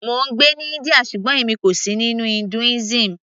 mò ń gbé ní India ṣùgbọ́n èmi kò sì nínú Hinduism